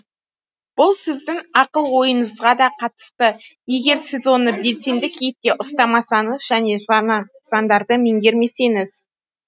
бұл сіздің ақыл ойыңызға да қатысты егер сіз оны белсенді кейіпте ұстамасаңыз және жаңа заңдарды меңгермесеңіз